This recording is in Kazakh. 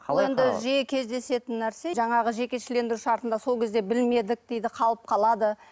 бұл енді жиі кездесетін нәрсе жаңағы жекешелендіру шартында сол кезде білмедік дейді қалып қалады